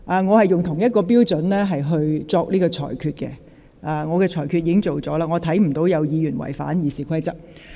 我是按照一致的標準作出裁決，我看不到有議員違反《議事規則》。